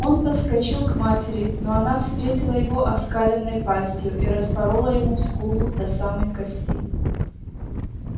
он подскочил к матери но она встретила его оскаленной пастью и распорола ему скулу до самой кости